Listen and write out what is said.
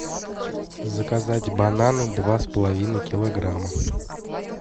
заказать бананы два с половиной килограмма